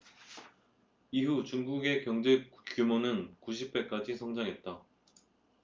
이후 중국의 경제규모는 90배까지 성장했다